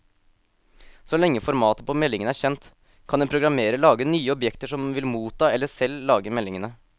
Så lenge formatet på meldingen er kjent, kan en programmerer lage nye objekter som vil motta eller selv lage meldingene.